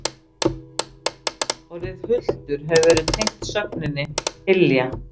Orðið hultur hefur verið tengt sögninni hylja.